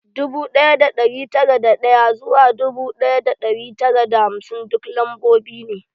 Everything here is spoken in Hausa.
Dubu ɗaya da ɗari tara da ɗaya zuwa dubu ɗaya da ɗari tara da hamsin duk lambobi ne